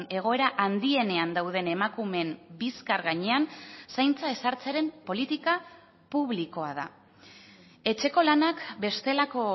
egoera handienean dauden emakumeen bizkar gainean zaintza ezartzearen politika publikoa da etxeko lanak bestelako